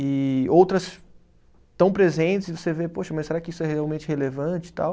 E outras tão presentes e você vê, poxa, mas será que isso é realmente relevante e tal?